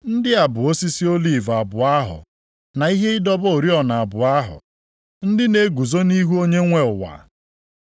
Ndị a bụ osisi oliv abụọ ahụ na ihe ịdọba oriọna abụọ ahụ, ndị na-eguzo nʼihu Onye nwe ụwa. + 11:4 \+xt Abụ 52:8; Zek 4:3,11,14\+xt*